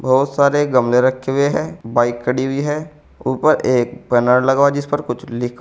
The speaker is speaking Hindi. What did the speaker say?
बहुत सारे गमले रखे हुए है बाइक खड़ी हुई है ऊपर एक बैनर लगा हुआ है जिस पर कुछ लिखा--